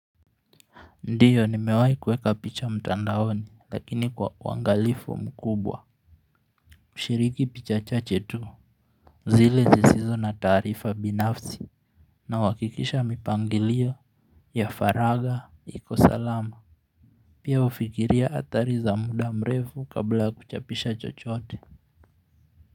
Ndiyo, nimewai kueka picha mtandaoni, lakini kwa wangalifu mkubwa. Shiriki picha chache tu. Zile zizizo na tarifa binafsi. Na wakikisha mipangilio. Yafaraga, ikosalama. Pia ufikiria hatari za muda mrefu kabla kuchapisha chochoote.